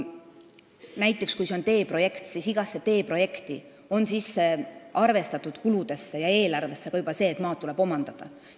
Näiteks on iga teeprojekti kuludesse ja eelarvesse juba sisse arvestatud see, et tuleb omandada maad.